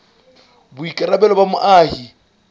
ke boikarabelo ba moahi e